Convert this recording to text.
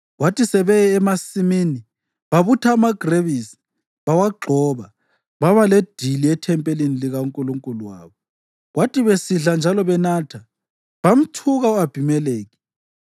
Kwathi sebeye emasimini babutha amagrebisi bawagxoba, baba ledili ethempelini likankulunkulu wabo. Kwathi besidla njalo benatha, bamthuka u-Abhimelekhi.